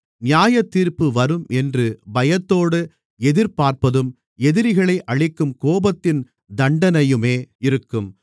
நியாயத்தீர்ப்பு வரும் என்று பயத்தோடு எதிர்பார்ப்பதும் எதிரிகளை அழிக்கும் கோபத்தின் தண்டனையுமே இருக்கும்